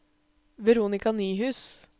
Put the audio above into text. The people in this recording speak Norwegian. Veronika Nyhus